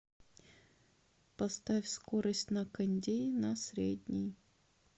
поставь скорость на кондее на средний